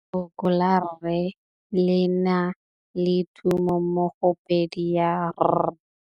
Lefoko la rre, le na le tumammogôpedi ya, r.